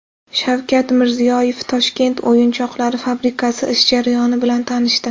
Shavkat Mirziyoyev Toshkent o‘yinchoqlari fabrikasi ish jarayoni bilan tanishdi .